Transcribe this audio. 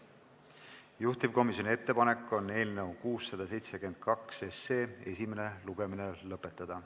Juhtivkomisjoni ettepanek on eelnõu 672 esimene lugemine lõpetada.